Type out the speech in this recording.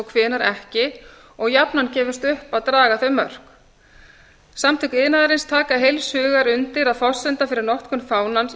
hvenær ekki og jafnan gefist upp að draga þau mörk samtök iðnaðarins taka heils hugar undir að forsenda fyrir notkun